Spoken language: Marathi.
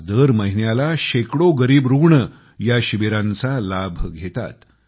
आज दर महिन्यात शेकडो गरीब रुग्ण ह्या शिबिरांचा लाभ घेतात